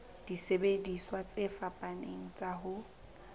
disebediswa tse fapaneng tsa ho